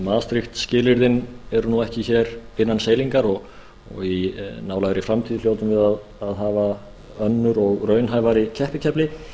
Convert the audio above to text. maastricht skilyrðin eru nú ekki hér innan seilingar og í nálægri framtíð hljótum við að hafa önnur og raunhæfari keppikefli